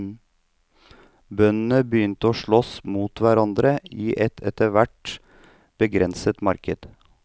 Bøndene begynte å slåss mot hverandre i et etter hvert begrenset marked.